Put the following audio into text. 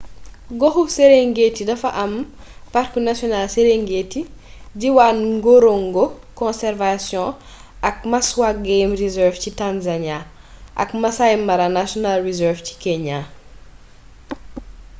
goxu serengeti dafa am parku national serengeti diwaan ngorongo conservation ak maswa game reserve ci tanzania ak maasai mara national reserve ci kenya